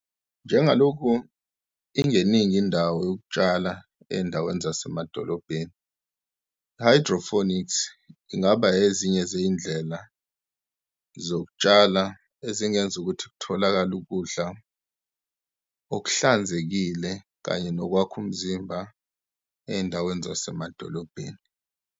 Njengalokhu ingeningi indawo yokutshala ey'ndaweni zasemadolobheni, i-hydroponics ingaba ezinye zeyindlela zokutshala ezingenza ukuthi kutholakale ukudla okuhlanzekile kanye nokwakha umzimba ey'ndaweni zasemadolobheni.